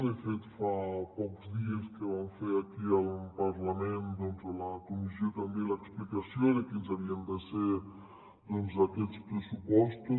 de fet fa pocs dies que vam fer aquí al parlament doncs a la comissió també l’explicació de quins havien de ser aquests pressupostos